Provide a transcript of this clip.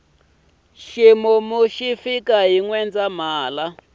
ximumu xi fika hi nwendzahala